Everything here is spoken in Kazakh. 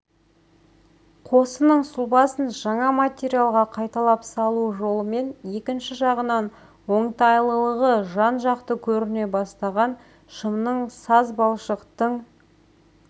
қосының сұлбасын жаңа материалға қайталап салу жолымен екінші жағынан оңтайлылығы жан-жақты көріне бастаған шымның сазбалшықтың